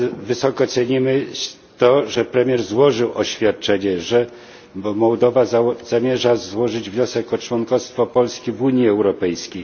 Wysoko cenimy to, że premier złożył oświadczenie, że Mołdowa zamierza złożyć wniosek o członkostwo w Unii Europejskiej.